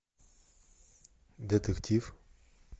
детектив